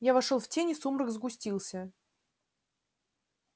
я вошёл в тень и сумрак сгустился